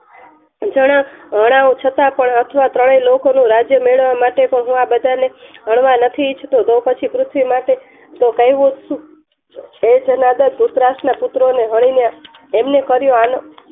જણા જણાઓ છતાં પણ આ ત્રણેય લોક નું રાજ્ય મેળવવા માટે હું આ બધાને હણવા નથી ઇચ્છ તી તો પછી પૃથ્વી તો કહેવું હે જાનદાર ધ્રુતરાષ્ટ્ર ના પુત્ર ને હની ને એમનું કર્યું'